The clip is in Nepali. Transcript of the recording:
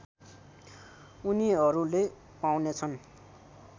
उनीहरुले पाउनेछन्